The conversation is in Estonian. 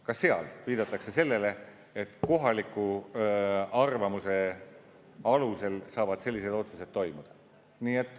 Ka seal viidatakse sellele, et vaid kohaliku arvamuse alusel saavad sellised otsused sündida.